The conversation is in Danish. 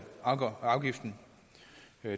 afgiften